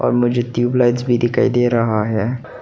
और मुझे ट्यूबलाइट्स भी दिखाई दे रहा है।